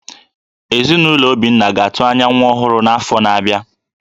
Ezinụlọ Obinna ga-atụ anya nwa ọhụrụ n’afọ na-abịa